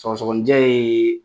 Sɔgɔsɔgɔni jɛ ye